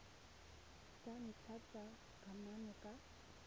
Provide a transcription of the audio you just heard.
tsa ntlha tsa kamano ka